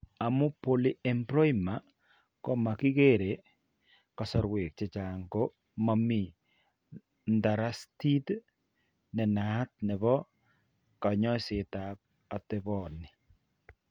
Amu polyembryoma ko makikere kasarwek chechang', ko mami ntarastiit ne naat ne po kaany'ayseetap ateponi.